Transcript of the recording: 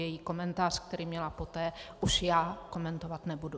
Její komentář, který měla poté, už já komentovat nebudu.